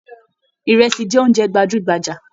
Ìrẹsì jẹ oúnjẹ gbajúgbajà.